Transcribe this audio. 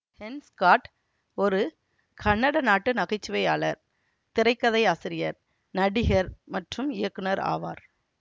Ken Scott ஒரு Canada நாட்டு நகைச்சுவையாளர் திரைக்கதையாசிரியர் நடிகர் மற்றும் இயக்குநர் ஆவார்